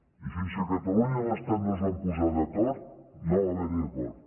i fins que catalunya i l’estat no es van posar d’acord no va haver hi acord